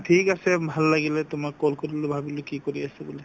ঠিক আছে ভাল লাগিলে তোমাক call কৰিলো ভাবিলো কি কৰি আছে বুলি